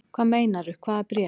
Hvað meinarðu. hvaða bréf?